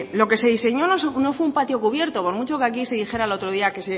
lo que se diseñó no fue un patio cubierto por mucho que aquí se dijera el otro día que